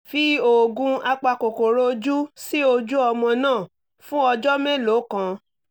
fi oògùn apakòkòrò ojú sí ojú ọmọ náà fún ọjọ́ mélòó kan